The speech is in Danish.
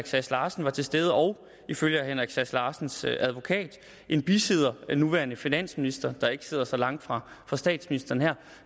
sass larsen var til stede og ifølge herre henrik sass larsens advokat en bisidder den nuværende finansminister der ikke sidder så langt fra fra statsministeren her